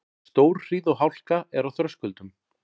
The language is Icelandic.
Stórhríð og hálka er á Þröskuldum